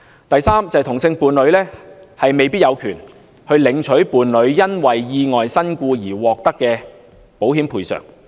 第三，同性伴侶未必有權領取伴侶因意外身故而獲得的保險賠償。